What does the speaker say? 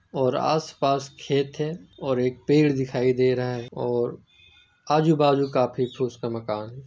और आसपास खेत है और एक पेड़ दिखाई दे रहा है और आजू-बाजू काफी ठोस का मकान है।